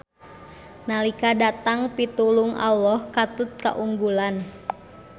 Nalika datang pitulung Alloh katut kaunggulan.